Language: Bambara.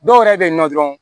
Dɔw yɛrɛ bɛ yen nɔ dɔrɔn